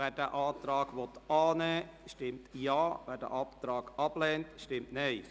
Wer den Antrag annehmen will, stimmt Ja, wer ihn ablehnt, stimmt Nein.